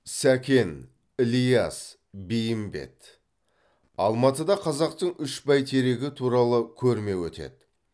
сәкен ілияс бейімбет алматыда қазақтың үш бәйтерегі туралы көрме өтеді